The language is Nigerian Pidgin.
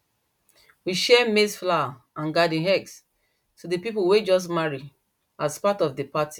we share maize flour and garden eggs to the people way just marry as part of the party